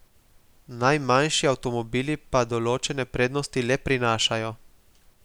Najmanjši avtomobili pa določene prednosti le prinašajo.